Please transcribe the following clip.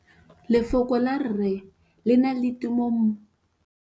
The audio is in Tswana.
Lefoko la rre, le na le tumammogôpedi ya, r.